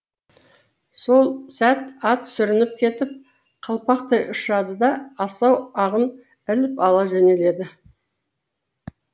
сол сәт ат сүрініп кетіп қалпақтай ұшады да асау ағын іліп ала жөнеледі